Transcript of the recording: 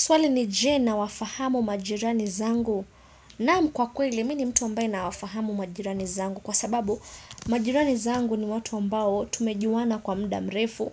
Swali ni je na wafahamu majirani zangu. Naam kwa kweli, mini mtu ambaye na wafahamu majirani zangu. Kwa sababu, majirani zangu ni watu ambao tumejuwana kwa mdamrefu.